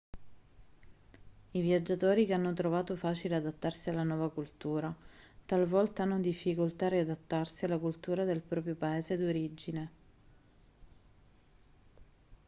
i viaggiatori che hanno trovato facile adattarsi alla nuova cultura talvolta hanno difficoltà a riadattarsi alla cultura del proprio paese d'origine